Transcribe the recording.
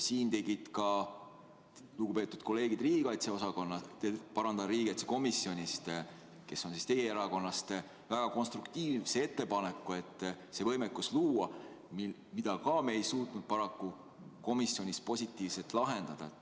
Ka lugupeetud kolleegid riigikaitsekomisjonist, kes on teie erakonnast, tegid väga konstruktiivse ettepaneku see võimekus luua, aga paraku me ei suutnud komisjonis seda positiivselt lahendada.